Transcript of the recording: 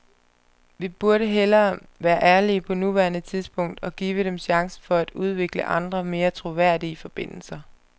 Vi burde hellere være ærlige på nuværende tidspunkt og give dem chancen for at udvikle andre, mere troværdige forbindelser.